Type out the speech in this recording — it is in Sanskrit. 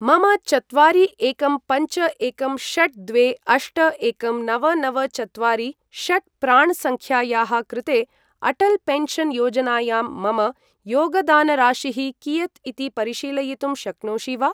मम चत्वारि एकं पञ्च एकं षट् द्वे अष्ट एकं नव नव चत्वारि षट् प्राण् सङ्ख्यायाः कृते अटल् पेन्शन् योजनायां मम योगदानराशिः कियत् इति परिशीलयितुं शक्नोषि वा?